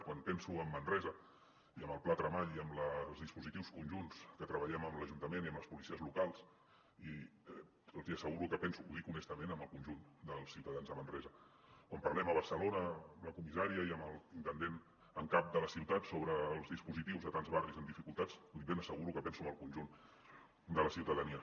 quan penso en manresa i en el pla tremall i en els dispositius conjunts que treballem amb l’ajuntament i amb les policies locals els hi asseguro que penso ho dic honestament en el conjunt dels ciutadans de manresa quan parlem a barcelona amb la comissària i amb l’intendent en cap de la ciutat sobre els dispositius a tants barris amb dificultats li ben asseguro que penso en el conjunt de la ciutadania